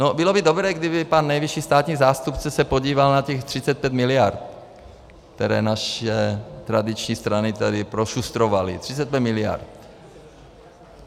No, bylo by dobré, kdyby pan nejvyšší státní zástupce se podíval na těch 35 miliard, které naše tradiční strany tady prošustrovaly, 35 miliard.